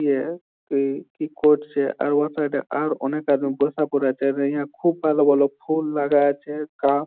ইয়ে কি করছে ।আর উহার সাইড আর অনেক আছেইহা খুব ভালো ভালো ফুল লাগা আছে কাপ